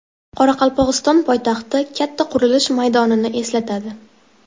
Qoraqalpog‘iston poytaxti katta qurilish maydonini eslatadi.